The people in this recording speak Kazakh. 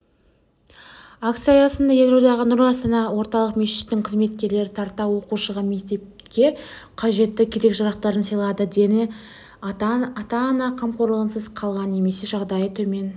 акция аясында елордадағы нұр астана орталық мешітінің қызметкерлері тарта оқушыға мектепке қажетті керек-жарақтарын сыйлады дені ата-ана қамқорлығынсыз қалған немесе жағдайы төмен